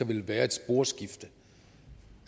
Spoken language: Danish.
vil være et sporskifte